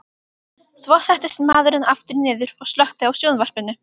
Svo settist maðurinn aftur niður og slökkti á sjónvarpinu.